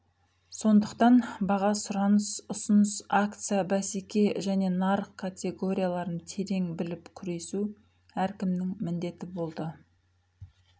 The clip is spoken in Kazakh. сондықтан баға сұраныс ұсыныс акция бәсеке және нарық категорияларын терең біліп күресу әркімнің міндеті болды